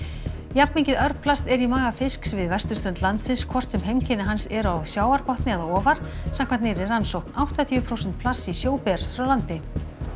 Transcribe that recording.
jafnmikið örplast er í maga fisks við vesturströnd landsins hvort sem heimkynni hans eru á sjávarbotni eða ofar samkvæmt nýrri rannsókn áttatíu prósent plasts í sjó berast frá landi